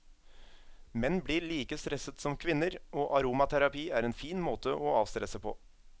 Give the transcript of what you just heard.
Menn blir like stresset som kvinner, og aromaterapi er en fin måte å avstresse på.